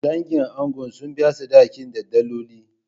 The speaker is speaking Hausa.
Dangin angon sun biya sadakin da daloli.